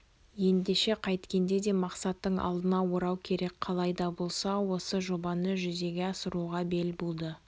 ендеше қайткенде де мақсаттың алдын орау керек қалай да болса осы жобаны жүзеге асыруға бел буды